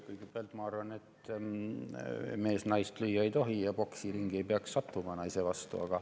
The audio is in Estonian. Kõigepealt, ma arvan, et mees naist lüüa ei tohi ja ta ei peaks sattuma poksiringi naise vastu.